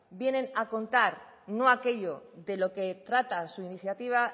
vienen a contar no aquello de lo que trata su iniciativa